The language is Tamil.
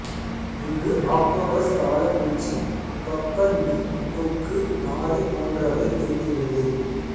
இங்கு ஆக்டோபஸ் பவளப் பூச்சி பப்பர் மீன் கொக்கு நாரை போன்றவை இருக்கிறது